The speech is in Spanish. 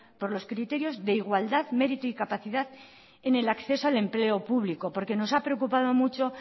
por los criterios de igualdad mérito y capacidad en el acceso al empleo público porque nos ha preocupado mucho